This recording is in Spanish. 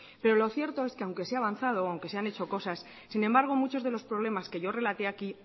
pero lo cierto es que aunque se ha avanzado aunque se han hecho cosas sin embargo muchos de los problemas que yo relaté aquí